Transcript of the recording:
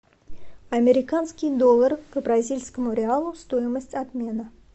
американский доллар к бразильскому реалу стоимость обмена